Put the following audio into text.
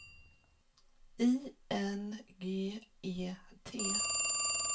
I N G E T